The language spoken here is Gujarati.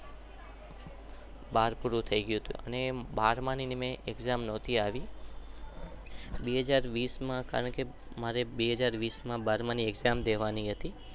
બાર પૂરું થઇ ગયું હતું. મેં પરિક્ષ નોતી આપી.